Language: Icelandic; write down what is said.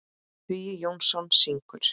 Hugi Jónsson syngur.